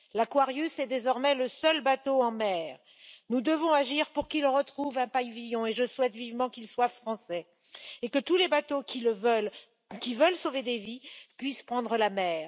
L'Aquarius est désormais le seul bateau en mer. Nous devons agir pour qu'il retrouve un pavillon, et je souhaite vivement qu'il soit français et que tous les bateaux qui veulent sauver des vies puissent prendre la mer.